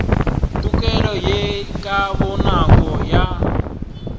tokelo ye ka bonako ya